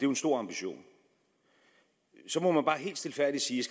en stor ambition så må man bare helt stilfærdigt sige